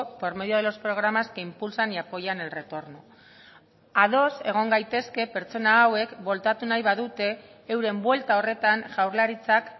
por medio de los programas que impulsan y apoyan el retorno ados egon gaitezke pertsona hauek bueltatu nahi badute euren buelta horretan jaurlaritzak